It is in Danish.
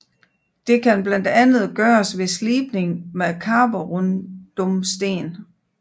Det kan blandt andet gøres ved slibning med karborundumsten